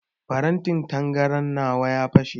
Farantin tangaran nawa ya fashe.